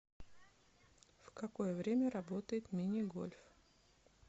в какое время работает мини гольф